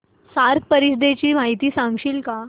SAARC परिषदेची माहिती सांगशील का